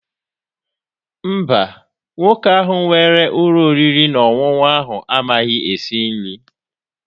Mba, nwoke ahụ nwere ụlọ oriri na ọṅụṅụ ahụ amaghị esi nri.